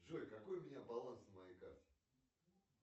джой какой у меня баланс на моей карте